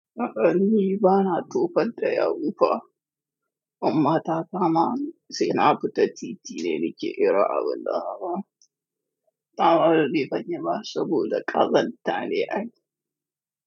A'a ni bana tofan ta ya wufa. Amma ta kama sai na fita titi ne nike ero a wulla haka. Ta bani ban yi ba saboda ƙazanta ne ai.